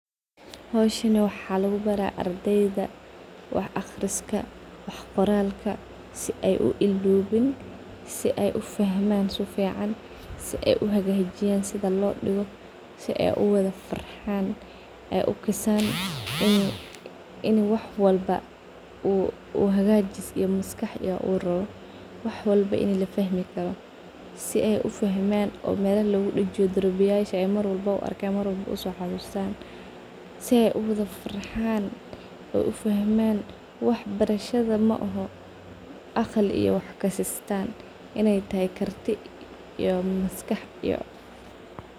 Howshani waxaa lugubaraah ardeyda wax aqriska wax qoralka si ay u ilowin si ay ufahman si fican si ay uwada farxan su fican si ay uhagajiyan si ay uwadafrxan ay u kasan wax walbo hagajis iyo maskax ubahanyaho si ay uwada farxan u wada fahman waxbarasha maaho aqli iyo wax kasitan in ay tahay karti iyo maskax si ay ufahman waxbarashada maaha wax kasitan in ay karti iyo maskax.